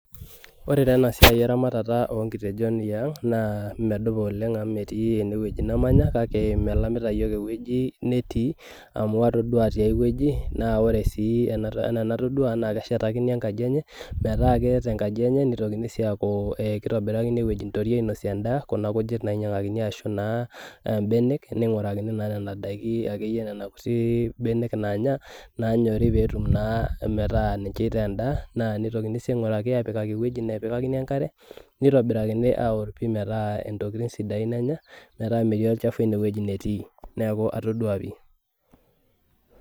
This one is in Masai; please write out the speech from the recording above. Ore taa ena siai eramatata onkitejon iang naa medupa oleng amu metii enewueji namanya kake melamita iyiok ewueji netii amu atodua tiae wueji naa ore sii enaa enatodua naa keshetakini enkaji enye metaa keeta enkaji enye nitokini sii aaku eh kitobirakini ewueji nitoriei ainosie endaa kuna kujit nainyiang'akini ashu naa imbenek ning'urakini naa nena daiki akeyie nana kuti benek nanya nanyori petum naa metaa ninche itaa endaa naa nitokini sii aing'uraki apikaki ewueji nepikakini enkare neitobirakini aorr pii metaa intokitin sidain enya metaa metii olchafu enewueji netii neeku atodua pii.